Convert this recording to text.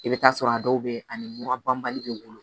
I bɛ taa sɔrɔ a dɔw bɛ yen ani murabanbali bɛ wolo